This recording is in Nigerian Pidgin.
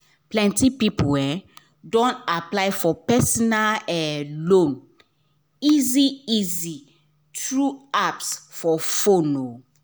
plenty people um don apply for personal um loan easy-easy through apps for fone um